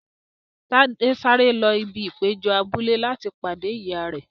Tade sáré lọ sí ibi ìpéjọ abúlé láti pàdé ìyá rẹ.